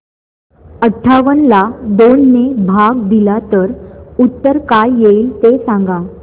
अठावन्न ला दोन ने भाग दिला तर उत्तर काय येईल ते सांगा